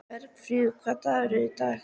Bergfríður, hvaða dagur er í dag?